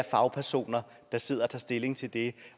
fagpersoner der sidder og tager stilling til det